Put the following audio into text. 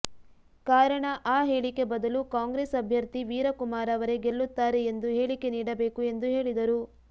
ಕಾರಣ ಆ ಹೇಳಿಕೆ ಬದಲು ಕಾಂಗ್ರೆಸ್ ಅಭ್ಯರ್ಥಿ ವೀರಕುಮಾರ ಅವರೇ ಗೆಲ್ಲುತ್ತಾರೆ ಎಂದು ಹೇಳಿಕೆ ನೀಡಬೇಕು ಎಂದು ಹೇಳಿದರು